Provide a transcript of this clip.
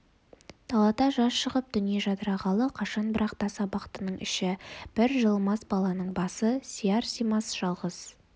далада жаз шығып дүние жадырағалы қашан бірақ тас абақтының іші бір жылымас баланың басы сияр-симас жалғыз